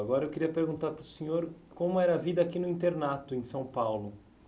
Agora eu queria perguntar para o senhor como era a vida aqui no internato em São Paulo.